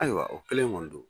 Ayiwa o kelen kɔni don